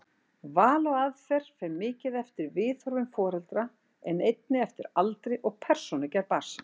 Val á aðferð fer mikið eftir viðhorfum foreldra en einnig eftir aldri og persónugerð barnsins.